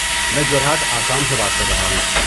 میں جورہٹ، آسام سے بات کر رہا ہوں۔